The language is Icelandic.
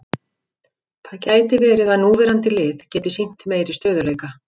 Það gæti verið að núverandi lið geti sýnt meiri stöðugleika.